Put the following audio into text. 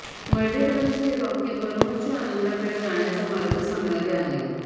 मर्ढेकरांचे हे वाक्य परमोच्च आनंदाकडे जाण्याचा मार्ग सांगणारे आहे